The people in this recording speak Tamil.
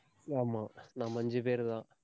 ஆமா. நம்ம அஞ்சு பேருதான்